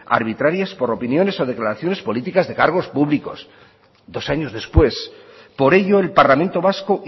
arbitrarias por opiniones o declaraciones políticas de cargos públicos dos años después por ello el parlamento vasco